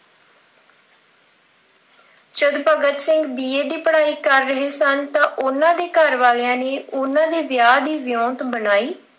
ਜਦ Bhagat Singh B. A. ਦੀ ਪੜ੍ਹਾਈ ਕਰ ਰਹੇ ਸਨ। ਤਾਂ ਉਹਨਾਂ ਦੇ ਘਰ ਵਾਲਿਆਂ ਨੇ ਉਹਨਾਂ ਦੇ ਵਿਆਹ ਦੀ ਗੱਲ ਚਲਾਈ।